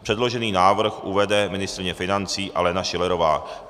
Předložený návrh uvede ministryně financí Alena Schillerová.